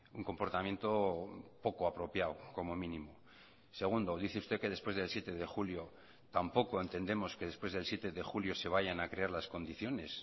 un comportamiento poco apropiado como mínimo segundo dice usted que después del siete de julio tampoco entendemos que después del siete de julio se vayan a crear las condiciones